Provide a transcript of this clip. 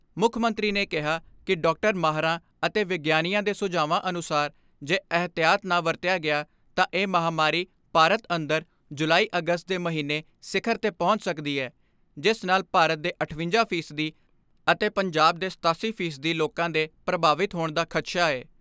ਮੁੱਖ ਮੰਤਰੀ ਨੇ ਕਿਹਾ ਕਿ ਡਾਕਟਰੀ ਮਾਹਰਾਂ ਅਤੇ ਵਿਗਿਆਨੀਆਂ ਦੇ ਸੁਝਾਵਾਂ ਅਨੁਸਾਰ ਜੇ ਅਹਿਤਿਆਤ ਨਾ ਵਰਤਿਆ ਗਿਆ ਤਾਂ ਇਹ ਮਹਾਂਮਾਰੀ ਭਾਰਤ ਅੰਦਰ ਜੁਲਾਈ ਅਗਸਤ ਦੇ ਮਹੀਨੇ ਸਿਖਰ 'ਤੇ ਪਹੁੰਚ ਸਕਦੀ ਐ ਜਿਸ ਨਾਲ ਭਾਰਤ ਦੇ ਅਠਵੰਜਾ ਫੀਸਦੀ ਅਤੇ ਪੰਜਾਬ ਦੇ ਸਤਾਸੀ ਫੀਸਦੀ ਲੋਕਾਂ ਦੇ ਪ੍ਰਭਾਵਿਤ ਹੋਣ ਦਾ ਖਦਸ਼ਾ ਐ।